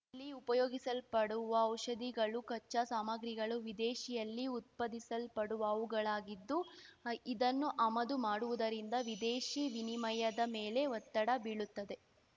ಇಲ್ಲಿ ಉಪಯೋಗಿಸಲ್ಪಡುವ ಔಷಧಿಗಳು ಕಚ್ಚಾ ಸಾಮಗ್ರಿಗಳು ವಿದೇಶಿಯಲ್ಲಿ ಉತ್ಪಾದಿಸಲ್ಪಡುವವುಗಳಾಗಿದ್ದು ಇದನ್ನು ಅಮದು ಮಾಡುವುದರಿಂದ ವಿದೇಶಿ ವಿನಿಮಯದ ಮೇಲೆ ಒತ್ತಡ ಬೀಳುತ್ತದೆ